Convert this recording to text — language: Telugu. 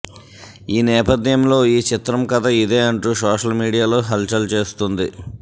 ఈ నేపథ్యంలో ఈ చిత్రం కథ ఇదే అంటూ సోషల్ మీడియా లో హల్చల్ చేస్తుంది